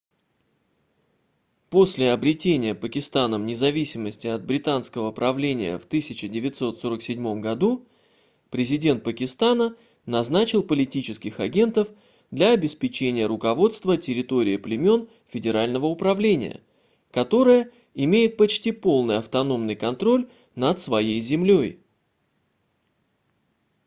после обретения пакистаном независимости от британского правления в 1947 году президент пакистана назначил политических агентов для обеспечения руководства территорией племён федерального управления которая имеет почти полный автономный контроль над своей землёй